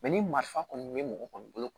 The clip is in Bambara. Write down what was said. ni marifa kɔni bɛ mɔgɔ kɔni bolo